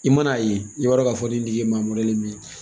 I man'a ye, i b'a dɔ k'a fɔ nin tigi ye maa min ye.